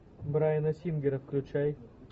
брайана сингера включай